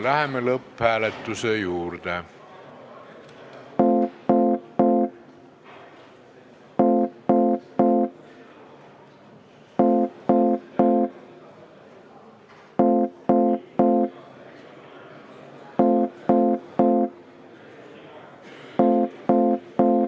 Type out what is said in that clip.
Läheme lõpphääletuse juurde.